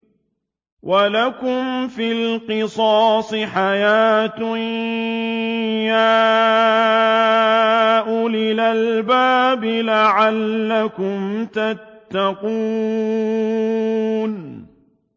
وَلَكُمْ فِي الْقِصَاصِ حَيَاةٌ يَا أُولِي الْأَلْبَابِ لَعَلَّكُمْ تَتَّقُونَ